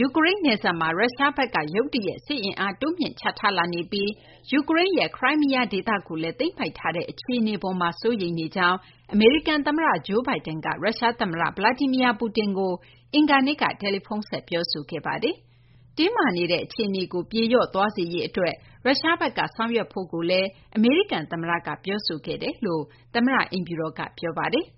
ယူကရိန်း နယ်စပ်မှာ ရုရှားဘက်က ရုတ်တရက် စစ်အင်းအား တိုးမြှင့်ချထားနေပြီး ယူကရိန်းရဲ့ Crimea ဒေသကိုလည်း သိမ်းပိုက်ထားတဲ့ အပေါ်မှာ စိုးရိမ်နေကြောင်း အမေရိကန် သမ္မတ Joe Biden က ရုရှား သမ္မတ Vladimir Putin ကို အင်္ဂါနေ့က တယ်လီဖုန်းဆက် ပြောဆိုခဲ့ပါတယ်။ တင်းမာနေတဲ့ အခြေအနေကို ပြေလျော့သွားစေရေး ရုရှားဘက်က ဆောင်ရွက်ဖို့လည်း အမေရိကန် သမ္မတက ပြောဆိုခဲ့ကြောင်း သမ္မတ အိမ်ဖြူတော်က ပြောပါတယ်။